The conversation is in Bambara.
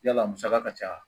Yala musaka ka ca